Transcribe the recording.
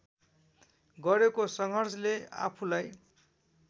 गरेको सङ्घर्षले आफूलाई